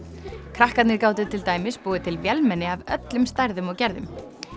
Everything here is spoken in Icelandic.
krakkarnir gátu til dæmis búið til vélmenni af öllum stærðum og gerðum